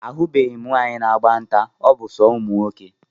Ahubeghi m nwaanyị na-agba nta, ọ bụ so ụmụnwoke